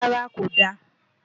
rárá, kò da